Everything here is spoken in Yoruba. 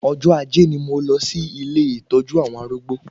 Ọjọ́ ajé ni mo lọ sí ilé ìtọ́jú àwọn arúgbó